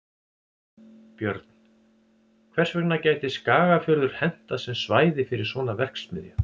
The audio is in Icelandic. Björn: Hvers vegna gæti Skagafjörður hentað sem svæði fyrir svona verksmiðju?